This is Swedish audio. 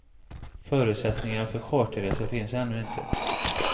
Förutsättningar för charterresor finns ännu inte.